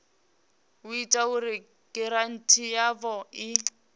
ita uri giranthi yavho i